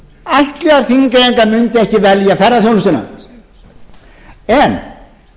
ætli að þingeyingar mundu velja ferðaþjónustuna en